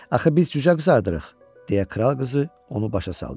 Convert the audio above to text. Axı biz cücə qızardırıq deyə kral qızı onu başa saldı.